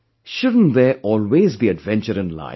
Shouldn't there always be adventure in life